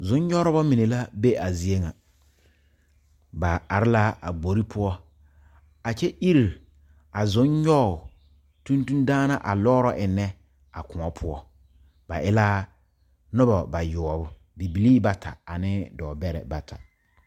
Zonnyɔgreba mine la be a zie ŋa ba are la a gbori poɔ a kyɛ iri a zonnyɔge tontondaana a lɔɔrɔ eŋnɛ a koɔ poɔ ba e la noba bayoɔbo bibilii bata ane dɔɔbɛrɛ bata.